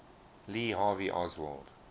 lee harvey oswald